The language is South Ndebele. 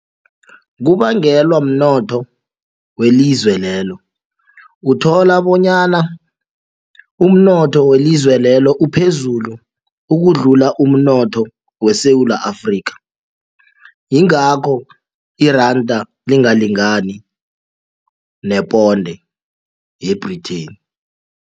Kubangelwa mnotho welizwe lelo uthola bonyana umnotho welizwe lelo uphezulu ukudlula umnotho weSewula Afrika yingakho iranda lingalingani neponde ye-Britain.